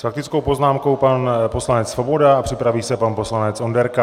S faktickou poznámkou pan poslanec Svoboda a připraví se pan poslanec Onderka.